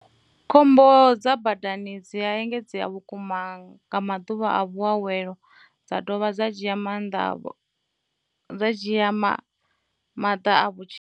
Khombo dza badani dzi a engedzea vhukuma nga maḓuvha a vhuawelo, dza dovha dza dzhia maḓana a vhutshilo.